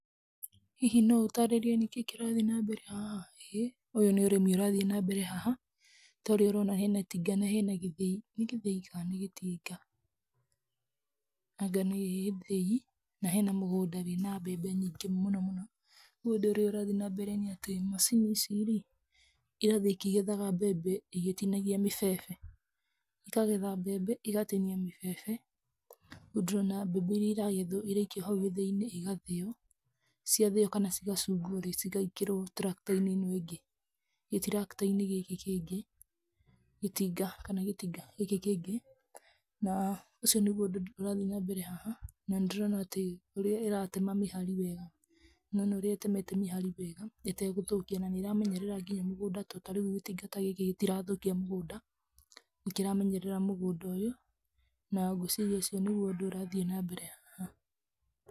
Hihi no ũtaarĩrie nĩkĩĩ kĩrathiĩ na mbere haha? ĩ, ũyũ nĩ ũrĩmi ũrathiĩ nambere haha, ta ũrĩa ũrona hena itinga na hena gĩthĩi. Nĩ gĩthĩi kana nĩ gĩtinga? Anga nĩ gĩthĩi na hena mũgũnda wĩna mbembe nyingĩ mũno mũno. Rĩu ũndũ ũrĩa ũrathiĩ nambere nĩ atĩ macini ici rĩ, irathiĩ ikĩgetha mbembe igatinagia mĩbebe. Ikagetha mbembe, igatinia mĩbebe. Rĩu ndĩrona mbembe iria iragethwo iraikio hau gĩthĩinĩ igathĩo. Ciathĩo kana cigacungwo rĩ, cigaikĩrwo tractor-inĩ ĩno ĩngĩ. Gĩ tractor -inĩ gĩkĩ kĩngĩ, gĩtinga, kana gĩtinga gĩkĩ kĩngĩ. Na, ũcio nĩguo ũndũ ũrathiĩ nambere haha. Na, nĩ ndĩrona atĩ ũrĩa ĩratema mĩhari wega, nĩ wona ũrĩa ĩtemete mĩhari wega ĩtegũthũkia, na nĩ ĩramenyerera nginya mũgũnda. To ta rĩu gĩtinga ta gĩkĩ gĩtirathũkia mũgũnda, nĩ kĩramenyerera mũgũnda ũyũ. Na ngwĩciria ũcio nĩguo ũndũ ũrathiĩ nambere haha.